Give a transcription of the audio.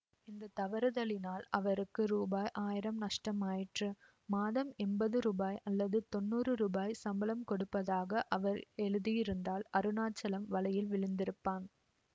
இந்த தவறுதலினால் அவருக்கு ரூபாய் ஆயிரம் நஷ்டமாயிற்று மாதம் எம்பது ரூபாய் அல்லது தொன்னூறு ரூபாய் சம்பளம் கொடுப்பதாக அவர் எழுதியிருந்தால் அருணாச்சலம் வலையில் விழுந்திருப்பான்